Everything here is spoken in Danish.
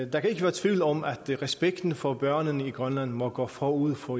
der kan ikke være tvivl om at respekten for børnene i grønland må gå forud for